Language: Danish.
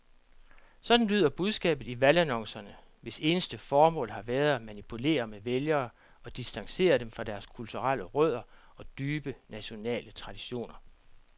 Sådan lyder budskabet i valgannoncerne, hvis eneste formål har været at manipulere med vælgere og distancere dem fra deres kulturelle rødder og dybe nationale traditioner.